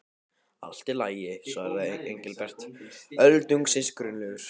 Allt í lagi svaraði Engilbert, öldungis grunlaus.